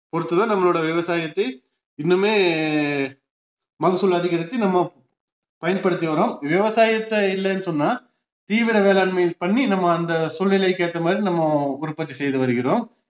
பொருத்துதான் நம்மளுடைய விவசாயத்தை இன்னுமே மகசூல் அதிகரித்து நம்ம பயன்படுத்தி வர்றோம் விவசாயத்தை இல்லன்னு சொன்னா தீவிர வேளாண்மை பண்ணி நம்ம அந்த சூழ்நிலைக்கேற்ற மாதிரி நம்ம உற்பத்தி செய்து வருகிறோம்